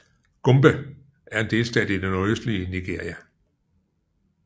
Gombe er en delstat i det nordøstlige Nigeria